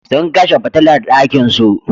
Sun kashe fitilar ɗakinsu.